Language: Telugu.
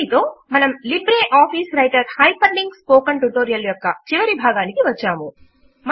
దీనితో మనము LibreOffice Writer hyperlink spoken tutorial యొక్క చివరి భాగమునకు వచ్చాము